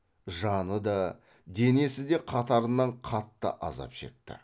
жаны да денесі де қатарынан қатты азап шекті